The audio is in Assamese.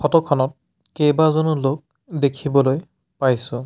ফটো খনত কেইবাজনো লোক দেখিবলৈ পাইছোঁ।